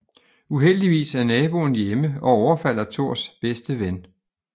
Uheldigvis er naboen hjemme og overfalder Thors bedste ven